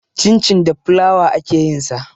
Cincin da fulawa ake yin sa.